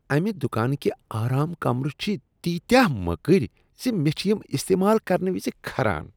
امہ دکانٕکہِ آرام كمرٕ چِٛھِ تیٖتیٛاہ مٔکٕرۍ ز مےٚ چھ یم استعمال کرنہٕ وِزِ كھران ۔